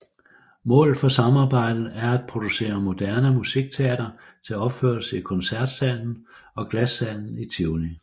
Målet for samarbejdet er at producere moderne musikteater til opførelse i Koncertsalen og Glassalen i Tivoli